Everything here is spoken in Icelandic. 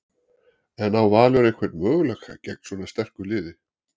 En á Valur einhvern möguleika gegn svona sterku liði?